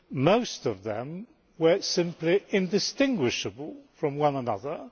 Most of them were simply indistinguishable from one another.